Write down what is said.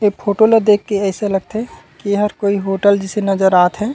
ए photo ला देख के अइसे लगत हे एहर कोई होटल जइसे नज़र आथे।